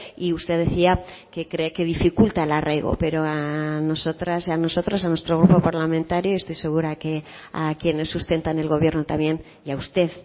y usted decía que cree que dificulta el arraigo pero a nosotras y a nosotros a nuestro grupo parlamentario estoy segura que a quienes sustentan el gobierno también y a usted